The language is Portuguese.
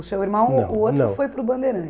O seu irmão, não, não o outro foi para o